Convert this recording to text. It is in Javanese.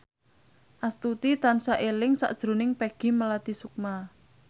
Astuti tansah eling sakjroning Peggy Melati Sukma